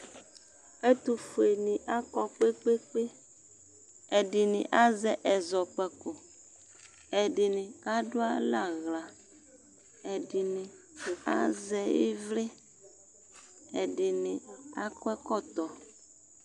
ɛtufueni akɔ kpekpekpeƐdini azɛ ɛzɔkpakoƐdini kadualɛ'aɣlaƐdini azɛ ivliƐdini akɔ ɛkɔtɔ